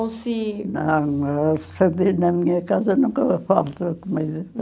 Ou se... Não, na minha casa nunca falta comida.